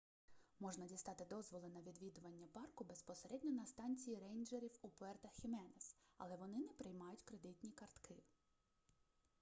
можна дістати дозволи на відвідування парку безпосередньо на станції рейнджерів у пуерто-хіменес але вони не приймають кредитні картки